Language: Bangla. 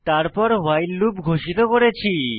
তারপর ভাইল লুপ ঘোষিত করেছি